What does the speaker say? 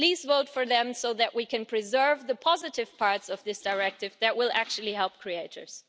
Please vote for them so that we can preserve the positive parts of this directive that will actually help creators.